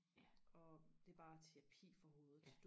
og det er bare terapi for hovedet